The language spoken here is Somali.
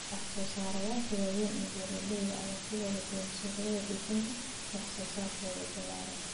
Wax-soo-saareyaasha waaweyn ee beeralayda ayaa ku badan suuqyada dhoofinta wax-soo-saarkooda ballaaran.